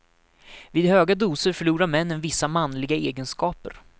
Vid höga doser förlorar männen vissa manliga egenskaper.